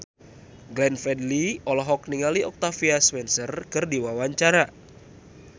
Glenn Fredly olohok ningali Octavia Spencer keur diwawancara